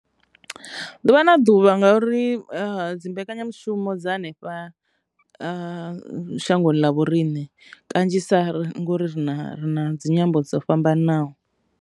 Ḓuvha na ḓuvha ngauri dzi mbekanyamushumo dza hanefha shangoni ḽa vho riṋe kanzhisa ngori ri na ri na dzi nyambo dzo fhambananaho.